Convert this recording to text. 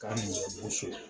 Ka mɔgɔ boso yen